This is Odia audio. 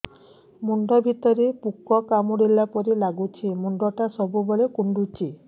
ମୁଣ୍ଡ ଭିତରେ ପୁକ କାମୁଡ଼ିଲା ପରି ଲାଗୁଛି ମୁଣ୍ଡ ଟା ସବୁବେଳେ କୁଣ୍ଡୁଚି